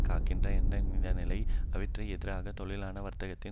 காக்கின்றன என்னும் இந்லையில் அவற்றிற்கு எதிராக தொழிலாள வர்க்கத்தின்